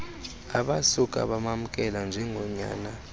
abasuka bamamkela njengonyana